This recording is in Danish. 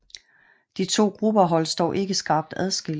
De to grupper holdes dog ikke skarpt adskilt